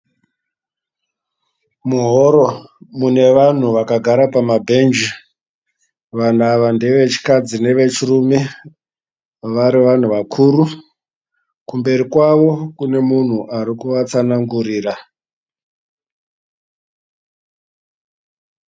Muhoro mune vanhu vakagara pamabhenji. Vanhu ava ndevechikadzi nevechirume vari vanhu vakuru. Kumberi kwavo kune munhu ari kuvatsanangurira.